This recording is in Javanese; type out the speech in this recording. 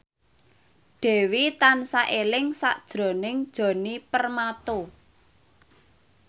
Dewi tansah eling sakjroning Djoni Permato